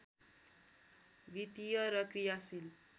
वित्तीय र क्रियाशील